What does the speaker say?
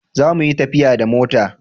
Za mu yi tafiya da mota!